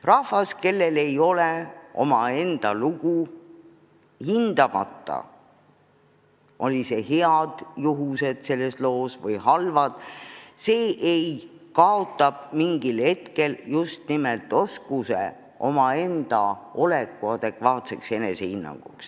Rahvas, kellel ei ole omaenda lugu – olgu selles loos head juhused või halvad –, kaotab mingil hetkel oskuse omaenda olekut adekvaatselt hinnata.